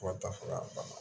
Fo ka taa fɔ k'a banna